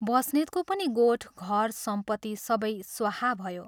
बस्नेतको पनि गोठ, घर सम्पत्ति सबै स्वाहा भयो।